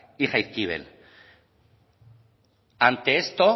y jaizkibel ante esto